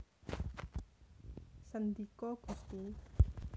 Sendika Gusti